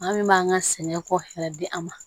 An min b'an ka sɛnɛ ko yɛrɛ di an ma